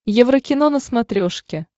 еврокино на смотрешке